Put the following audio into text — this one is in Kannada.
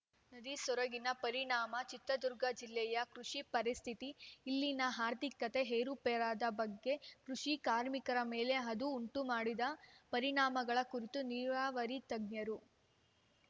ನದಿ ಸೊರಗಿದ ಪರಿಣಾಮ ಚಿತ್ರದುರ್ಗ ಜಿಲ್ಲೆಯ ಕೃಷಿ ಪರಿಸ್ಥಿತಿ ಇಲ್ಲಿನ ಆರ್ಥಿಕತೆ ಏರುಪೇರಾದ ಬಗೆ ಕೃಷಿ ಕಾರ್ಮಿಕರ ಮೇಲೆ ಅದು ಉಂಟುಮಾಡಿದ ಪರಿಣಾಮಗಳ ಕುರಿತು ನೀರಾವರಿ ತಜ್ಞರು